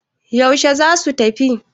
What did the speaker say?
yaushe za su tafi?